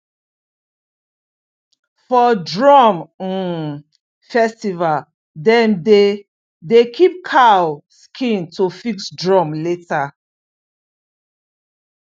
for drum um festival dem dey dey keep cow skin to fix drum later